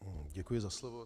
Děkuji za slovo.